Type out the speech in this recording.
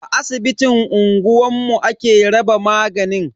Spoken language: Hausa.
A asibitin unguwanmu ake raba maganin.